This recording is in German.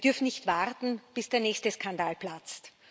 Wir dürfen nicht warten, bis der nächste Skandal platzt.